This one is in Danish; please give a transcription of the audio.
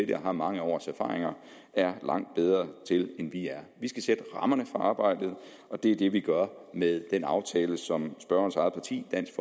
det og har mange års erfaring er langt bedre til end vi er vi skal sætte rammerne for arbejdet og det er det vi gør med den aftale som spørgerens eget parti dansk